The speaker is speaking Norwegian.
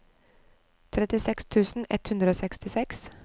trettiseks tusen ett hundre og sekstiseks